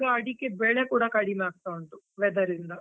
ಈಗ ಅಡಿಕೆ ಬೆಲೆ ಕೂಡಾ ಕಡಿಮೆ ಆಯ್ತಾ ಉಂಟು, weather ಇಂದ.